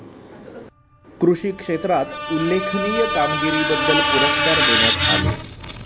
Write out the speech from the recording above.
कृषी क्षेत्रात उल्लेखनीय कामगिरीबद्दल पुरस्कार देण्यात आले.